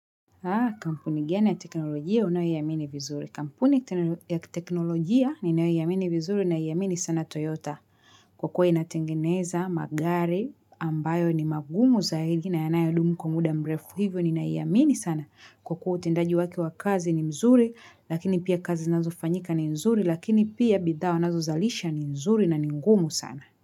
Haa, kampuni gani ya teknolojia unayo iamini vizuri. Kampuni ya teknolojia ninayo iamini vizuri naiamini sana Toyota. Kwa kuwa inatengeneza magari ambayo ni magumu zaidi na yanayo dumu kwa muda mrefu hivyo nina amini sana. Kwa kuwa utendaji wake wa kazi ni mzuri lakini pia kazi zinazo fanyika ni mzuri lakini pia bidhaa wanazo zalisha ni nzuri na ni ngumu sana.